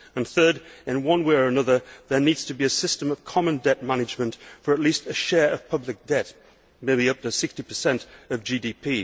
Third, in one way or another, there needs to be a system of common debt management for at least a share of public debt maybe up to 60 of GDP.